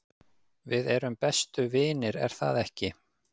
við erum bestu vinir er það ekki